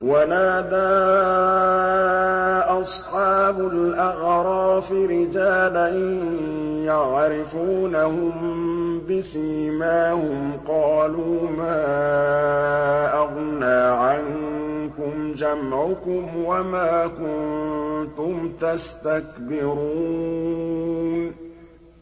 وَنَادَىٰ أَصْحَابُ الْأَعْرَافِ رِجَالًا يَعْرِفُونَهُم بِسِيمَاهُمْ قَالُوا مَا أَغْنَىٰ عَنكُمْ جَمْعُكُمْ وَمَا كُنتُمْ تَسْتَكْبِرُونَ